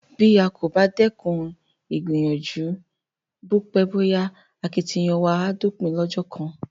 Bí a kò bá dẹ́kun ìgbìyànjú, bó pẹ́ bó yá akitiyan wa á dópin lọ́jọ́ kan.